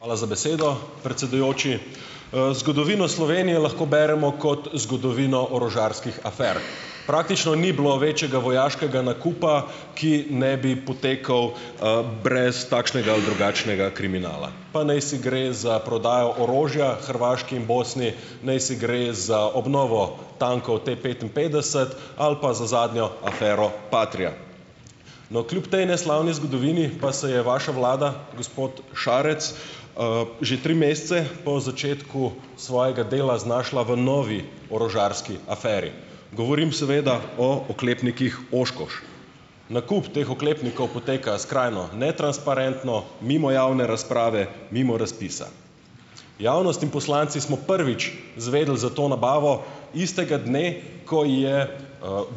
Hvala za besedo, predsedujoči. Zgodovino Slovenije lahko beremo kot zgodovino orožarskih afer. Praktično ni bilo večjega vojaškega nakupa, ki ne bi potekal, brez takšnega ali drugačnega kriminala. Pa naj si gre za prodajo orožja Hrvaški in Bosni, naj si gre za obnovo tankov T-petinpetdeset ali pa za zadnjo afero Patria. No, kljub tej neslavni zgodovini pa se je vaša vlada, gospod Šarec, že tri mesece po začetku svojega dela znašla v novi orožarski aferi. Govorim seveda o oklepnikih Oshkosh. Nakup teh oklepnikov poteka skrajno netransparentno, mimo javne razprave, mimo razpisa. Javnost in poslanci smo prvič izvedeli za to nabavo istega dne, ko je,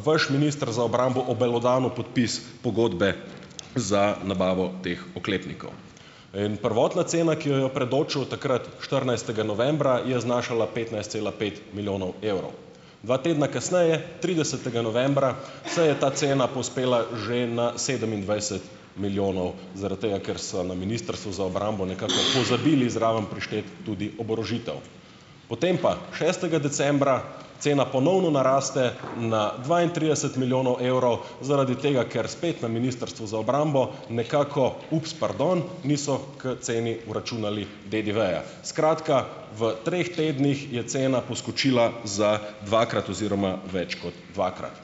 vaš minister za obrambo obelodanil podpis pogodbe za nabavo teh oklepnikov. In prvotna cena, ki jo je predočil takrat štirinajstega novembra, je znašala petnajst cela pet milijonov evrov, dva tedna kasneje, tridesetega novembra se je ta cena povzpela že na sedemindvajset milijonov, zaradi tega, ker so na Ministrstvu za obrambo nekako pozabili zraven prišteti tudi oborožitev. Potem pa šestega decembra cena ponovno naraste na dvaintrideset milijonov evrov zaradi tega, ker spet na Ministrstvu za obrambo nekako, ups, pardon, niso k ceni vračunali DDV-ja. Skratka, v treh tednih je cena poskočila za dvakrat oziroma več kot dvakrat.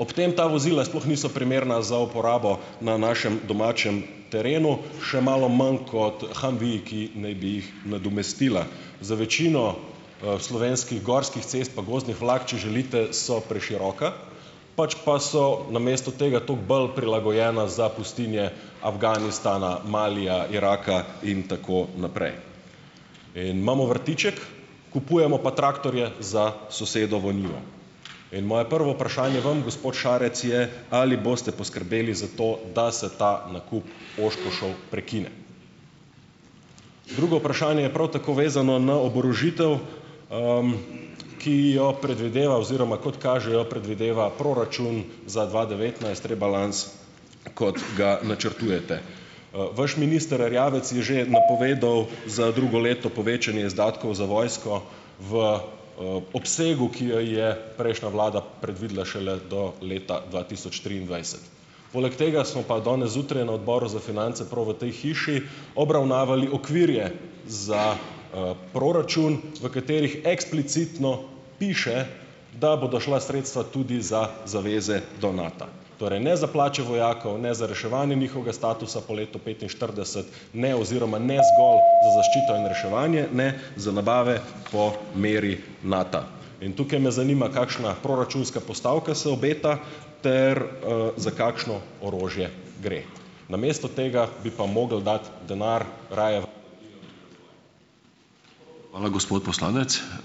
Ob tem ta vozila sploh niso primerna za uporabo na našem domačem terenu, še malo manj kot Humveeji, ki naj bi jih nadomestila. Za večino, slovenskih gorskih cest pa gozdnih vlak, če želite, so preširoka, pač pa so namesto tega toliko bolj prilagojena za pustinje Afganistana, Malija, Iraka in tako naprej. In imamo vrtiček, kupujemo pa traktorje za sosedovo njivo. In moje prvo vprašanje vam, gospod Šarec je: Ali boste poskrbeli za to, da se ta nakup Oshkoshev prekine? Drugo vprašanje je prav tako vezano na oborožitev, ki jo predvideva oziroma kot kaže, jo predvideva proračun za dva devetnajst, rebalans, kot ga načrtujete. Vaš minister Erjavec je že napovedal za drugo leto povečanje izdatkov za vojsko v, obsegu, ki jo je prejšnja vlada predvidela šele do leta dva tisoč triindvajset. Poleg tega smo pa danes zjutraj na odboru za finance, prav v tej hiši, obravnavali okvire za, proračun v katerih eksplicitno piše, da bodo šla sredstva tudi za zaveze do Nata. Torej ne za plače vojakov, ne za reševanje njihovega statusa po letu petinštirideset, ne oziroma ne zgolj za zaščito in reševanje, ne za nabave po meri Nata. In tukaj me zanima: kakšna proračunska postavka se obeta ter, za kakšno orožje gre? Namesto tega bi pa mogli dati denar raje v ...